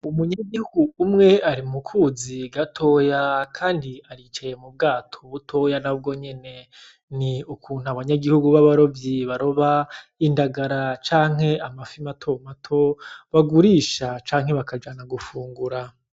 Umunyagihugu umwe ari mu kuzi gatoya, kandi aricaye mu bwato butoya na bwo nyene ni ukuntu abanyagihugu b'abarovyi baroba indagara canke amafi matomato bagurisha canke bakajana gufungura.